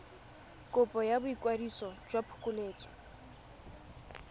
kopo ya boikwadiso jwa phokoletso